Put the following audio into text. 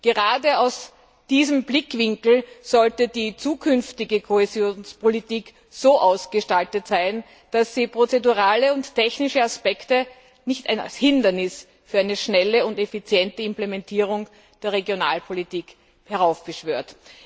Gerade aus diesem Blickwinkel sollte die zukünftige Kohäsionspolitik so ausgestaltet sein, dass sie prozedurale und technische Aspekte nicht als Hindernis für eine schnelle und effiziente Implementierung der Regionalpolitik heraufbeschwört.